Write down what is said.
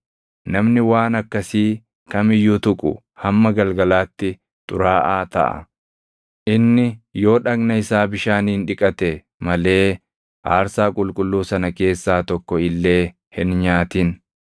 namni waan akkasii kam iyyuu tuqu hamma galgalaatti xuraaʼaa taʼa. Inni yoo dhagna isaa bishaaniin dhiqate malee aarsaa qulqulluu sana keessaa tokko illee hin nyaatin.